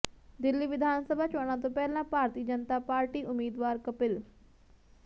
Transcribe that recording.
ਦਿੱਲੀ ਵਿਧਾਨ ਸਭਾ ਚੋਣਾਂ ਤੋਂ ਪਹਿਲਾਂ ਭਾਰਤੀ ਜਨਤਾ ਪਾਰਟੀ ਉਮੀਦਵਾਰ ਕਪਿਲ